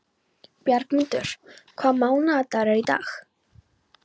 Bjargmundur, hvaða mánaðardagur er í dag?